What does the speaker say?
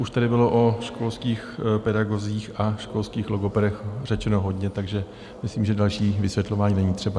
Už tady bylo o školských pedagozích a školských logopedech řečeno hodně, takže myslím, že další vysvětlování není třeba.